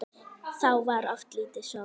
Þá var oft lítið sofið.